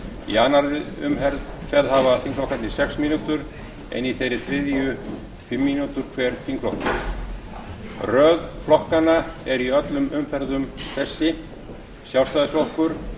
í annarri umferð hafa þingflokkarnir sex mínútur en í þeirri þriðju fimm mínútur hver þingflokkur röð flokkanna er í öllum umferðum þessi sjálfstæðisflokkur